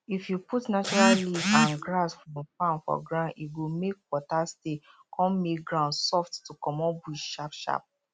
if you put natural leaf and grass from farm for ground e go make water stay con make ground soft to comot bush sharp sharp